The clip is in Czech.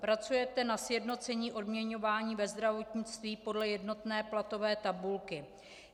Pracujete na sjednocení odměňování ve zdravotnictví podle jednotné platové tabulky?